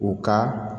U ka